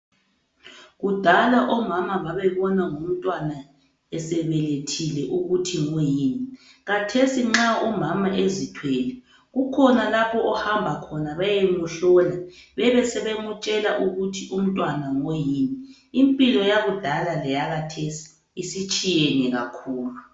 Kudala omama babebona ngomntwana esebelethile ukuthi ngoyini. Khathesi nxa umama ezithwele kukhona lapho ahamba khona beyemuhlola bebesebemtshela ukuthi umntwana ngoyini. Impilo yakudala leyakhathesi isitshiyene kakhulu.